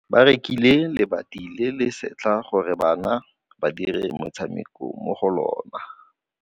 Ba rekile lebati le le setlha gore bana ba dire motshameko mo go lona.